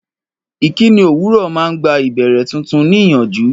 Ìkíni òwúrọ̀ máa ń gba ìbẹ̀rẹ̀ tuntun níyànjú.